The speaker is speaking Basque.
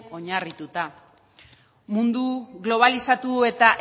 oinarrituta mundu globalizatu eta